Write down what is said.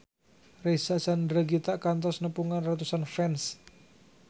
Reysa Chandragitta kantos nepungan ratusan fans